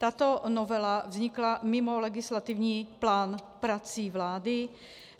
Tato novela vznikla mimo legislativní plán prací vlády.